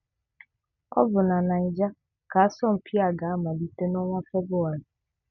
Ọ bụ na Niger ka asọmpi a ga-amalite n'ọnwa Febụwarị